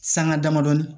Sanŋa damadɔni